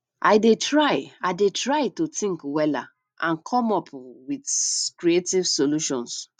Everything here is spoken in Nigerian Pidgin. i dey try i dey try to think wella and come up um with creative solutions